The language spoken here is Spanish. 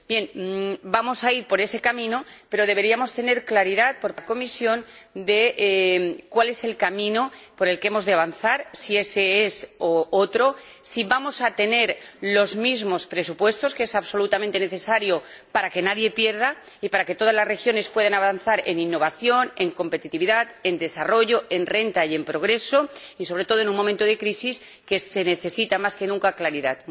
Bien, vamos a ir por ese camino, pero la Comisión debería aclararnos cuál es el camino por el que hemos de avanzar, si es ése u otro, si vamos a tener los mismos presupuestos, algo absolutamente necesario para que nadie pierda y para que todas las regiones puedan avanzar en innovación, en competitividad, en desarrollo, en renta y en progreso, sobre todo en un momento de crisis en el que se necesita, más que nunca, claridad.